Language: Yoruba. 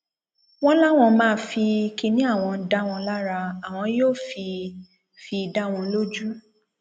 wọn láwọn máa fi kínní àwọn dá wọn lára àwọn yóò fi fi dá wọn lójú